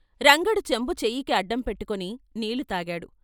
రంగడు చెంబు చెయ్యికి అడ్డం పెట్టుకుని నీళ్లు తాగాడు.